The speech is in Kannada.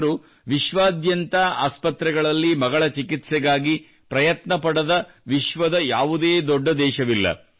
ಅವರು ವಿಶ್ವಾದ್ಯಂತ ಆಸ್ಪತ್ರೆಗಳಲ್ಲಿ ಮಗಳ ಚಿಕಿತ್ಸೆಗಾಗಿ ಪ್ರಯತ್ನ ಪಡದ ವಿಶ್ವದ ಯಾವುದೇ ದೊಡ್ಡ ದೇಶವಿಲ್ಲ